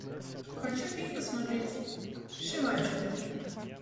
хочу фильм посмотреть сшиватели